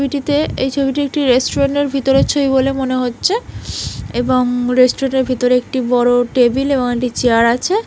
ছবিটিতে এই ছবিটি একটি রেস্টুরেন্ট এর ভিতরে ছবি বলে মনে হচ্ছে এবং রেস্টুরেন্ট এর ভিতরে একটি বড়ো টেবিল এবং একটি চেয়ার আছে।